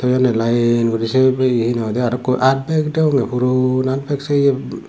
ebey line guriney siyen aro he honne ekku aatbeg degonge puron aatbag siyu.